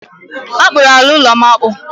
A kpụrụ ala ụlọ'm akpụ